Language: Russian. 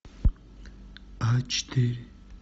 а четыре